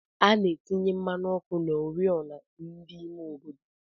Ana atinye mmanụ ọkụ na ori ọna ndi ime obodo.